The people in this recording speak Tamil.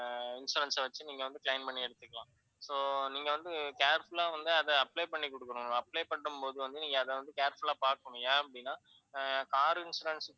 ஆஹ் இந்த insurance அ வச்சு நீங்க claim பண்ணி எடுத்துக்கலாம். so நீங்க வந்து careful ஆ வந்து அதை apply பண்ணிக்குடுக்கணும். apply பண்ணும்போது வந்து நீங்க வந்து அதை careful ஆ பாக்கணும். ஏன் அப்படின்னா car insurance,